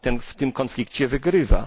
w tym konflikcie wygrywa.